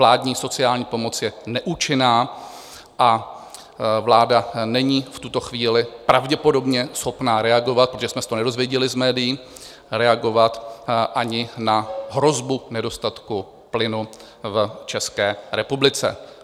Vládní sociální pomoc je neúčinná a vláda není v tuto chvíli pravděpodobně schopna reagovat, protože jsme se to nedozvěděli z médií, reagovat ani na hrozbu nedostatku plynu v České republice.